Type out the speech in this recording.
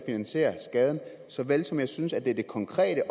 en skade såvel som jeg synes at det er det konkrete